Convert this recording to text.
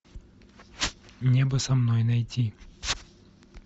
небо со мной найти